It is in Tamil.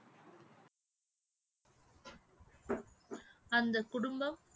அந்த குடும்பம்